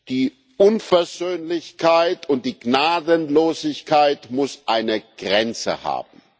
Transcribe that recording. Die Unversöhnlichkeit und die Gnadenlosigkeit muss eine Grenze haben!